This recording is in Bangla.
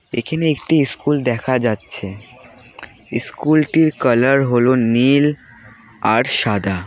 এখেনে একটি ইস্কুল দেখা যাচ্ছে ইস্কুলটির কালার হলো নীল আর সাদা।